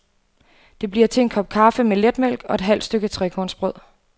Det bliver til en kop kaffe med letmælk og et halvt stykke trekornsbrød.